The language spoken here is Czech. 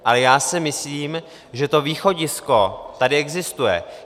Ale já si myslím, že to východisko tady existuje.